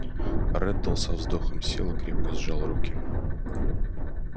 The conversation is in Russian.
реддл со вздохом сел и крепко сжал руки